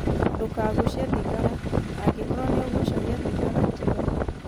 Ndũkagucie thigara, angĩkorũo nĩ ũgucagia thigara, tiga.